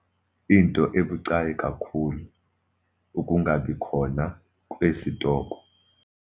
Into ebucayi kakhulu - ukungabikhona kwesitoko.